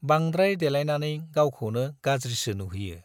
बांद्राय देलायनानै गावखौनो गाज्रिसो नुहोयो।